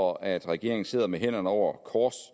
og at regeringen sidder med armene over kors